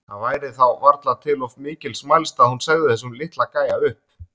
Það væri þá varla til of mikils mælst að hún segði þessum litla gæja upp.